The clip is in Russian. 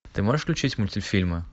ты можешь включить мультфильмы